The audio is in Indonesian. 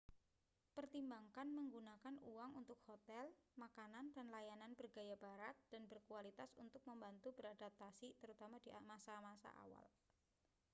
pertimbangkan menggunakan uang untuk hotel makanan dan layanan bergaya barat dan berkualitas untuk membantu beradaptasi terutama di masa-masa awal